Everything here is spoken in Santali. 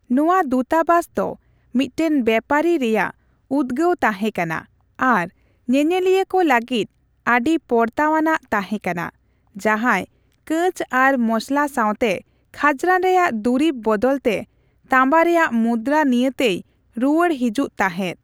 ᱱᱚᱣᱟ ᱫᱩᱛᱟᱵᱟᱥ ᱫᱚ ᱢᱤᱫᱴᱟᱝ ᱵᱮᱯᱟᱨᱤ ᱨᱮᱭᱟᱜ ᱩᱫᱜᱟᱹᱣ ᱛᱟᱦᱮᱸ ᱠᱟᱱᱟ ᱟᱨ ᱧᱮᱧᱮᱞᱤᱭᱟᱹ ᱠᱚ ᱞᱟᱹᱜᱤᱫ ᱟᱹᱰᱤ ᱯᱚᱲᱛᱟ ᱟᱱᱟᱜ ᱛᱟᱦᱮᱸ ᱠᱟᱱᱟ, ᱡᱟᱦᱟᱸᱭ ᱠᱟᱸᱪ ᱟᱨ ᱢᱚᱥᱚᱞᱟ ᱥᱟᱣᱛᱮ ᱠᱷᱟᱡᱱᱟ ᱨᱮᱭᱟᱜ ᱫᱩᱨᱤᱵ ᱵᱚᱫᱚᱞ ᱛᱮ ᱛᱟᱢᱵᱟ ᱨᱮᱭᱟᱜ ᱢᱩᱫᱨᱟ ᱱᱤᱭᱟᱹᱛᱮᱭ ᱨᱩᱣᱟᱹᱲ ᱦᱮᱡᱩᱜ ᱛᱟᱦᱮᱸᱫ ᱾